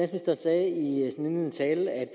nu